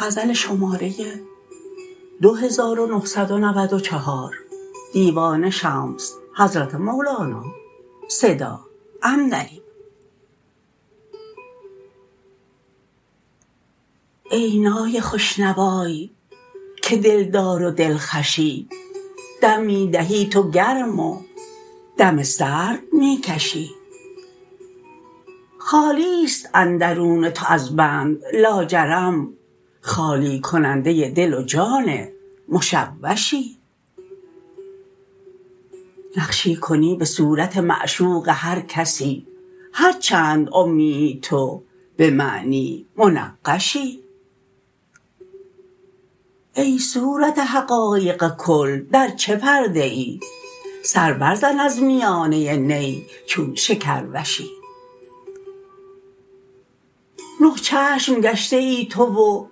ای نای خوش نوای که دلدار و دلخوشی دم می دهی تو گرم و دم سرد می کشی خالی است اندرون تو از بند لاجرم خالی کننده دل و جان مشوشی نقشی کنی به صورت معشوق هر کسی هر چند امیی تو به معنی منقشی ای صورت حقایق کل در چه پرده ای سر برزن از میانه بی چون شکروشی نه چشم گشته ای تو و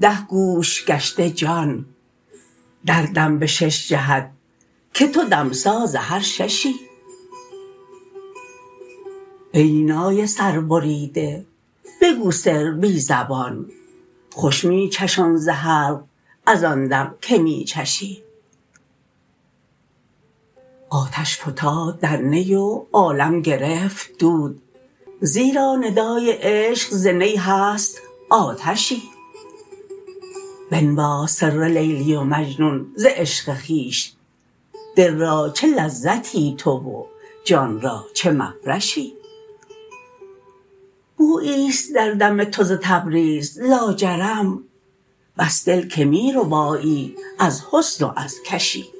ده گوش گشته جان دردم به شش جهت که تو دمساز هر ششی ای نای سربریده بگو سر بی زبان خوش می چشان ز حلق از آن دم که می چشی آتش فتاد در نی و عالم گرفت دود زیرا ندای عشق ز نی هست آتشی بنواز سر لیلی و مجنون ز عشق خویش دل را چه لذتی تو و جان را چه مفرشی بویی است در دم تو ز تبریز لاجرم بس دل که می ربایی از حسن و از کشی